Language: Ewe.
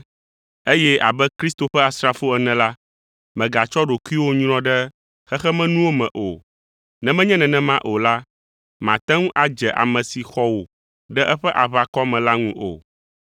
eye abe Kristo ƒe asrafo ene la, mègatsɔ ɖokuiwò nyrɔ ɖe xexemenuwo me o; ne menye nenema o la, màte ŋu adze ame si xɔ wò ɖe eƒe aʋakɔ me la ŋu o.